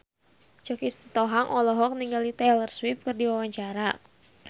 Choky Sitohang olohok ningali Taylor Swift keur diwawancara